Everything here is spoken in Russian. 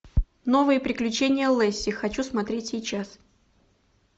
новые приключения лесси хочу смотреть сейчас